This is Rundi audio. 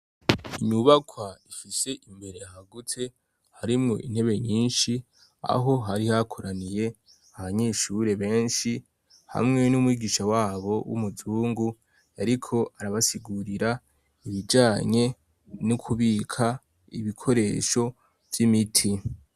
Inyubakwa ifise imbere hagutse, harimwo intebe nyinshi, aho hari hakoraniye abanyeshure benshi, hamwe n'umwigisha wabo w'umuzungu ariko arabasigurira, ibijanye n'ukubika ibikoresho vy'imiti.